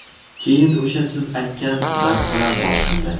Keyin o‘sha siz aytgan narsalar boshlandi.